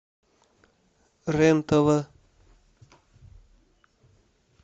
рен тв